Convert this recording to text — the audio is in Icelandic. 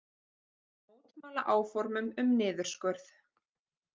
Mótmæla áformum um niðurskurð